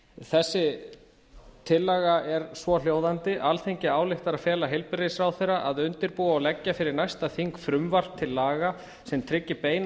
þessi tillaga er svohljóðandi alþingi ályktar að fela heilbrigðisráðherra að undirbúa og leggja fyrir næsta þing frumvarp til laga sem tryggi beina